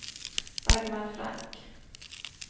Dagmar Frank